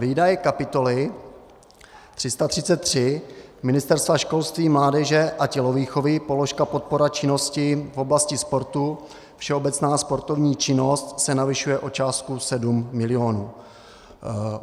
Výdaje kapitoly 333 Ministerstva školství, mládeže a tělovýchovy, položka podpora činnosti v oblasti sportu, všeobecná sportovní činnost, se navyšuje o částku 7 milionů.